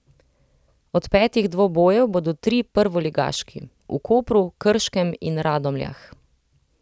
Od petih dvobojev bodo trije prvoligaški, v Kopru, Krškem in Radomljah.